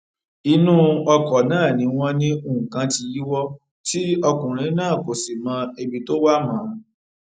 inú ọkọ náà ni wọn ní nǹkan tí yíwọ tí ọkùnrin náà kò sì mọ ibi tó wà mọ